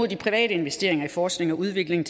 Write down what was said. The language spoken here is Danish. de private investeringer i forskning og udvikling